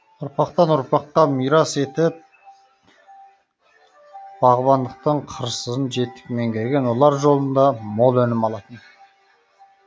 ұрпақтан ұрпаққа мирас етіп бағбандықтың қыр сырын жетік меңгерген олар жолында мол өнім алатын